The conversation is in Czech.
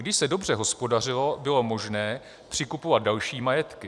Když se dobře hospodařilo, bylo možné přikupovat další majetky.